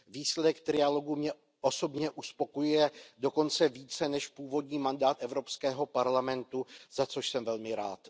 Výsledek trialogu mě osobně uspokojuje dokonce více než původní mandát Evropského parlamentu, za což jsem velmi rád.